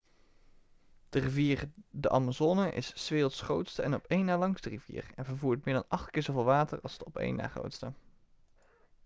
de rivier de amazone is s werelds grootste en op een na langste rivier en vervoert meer dan 8 keer zoveel water als de op de een na grootste